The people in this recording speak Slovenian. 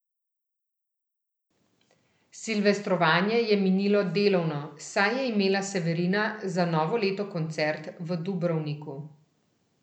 Silvestrovanje je minilo delovno, saj je imela Severina za novo leto koncert v Dubrovniku.